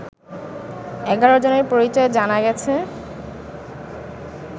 ১১ জনের পরিচয় জানা গেছে